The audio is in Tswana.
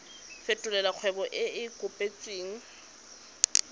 fetolela kgwebo e e kopetswengcc